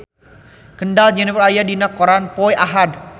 Kendall Jenner aya dina koran poe Ahad